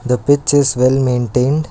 the pitch is well maintained.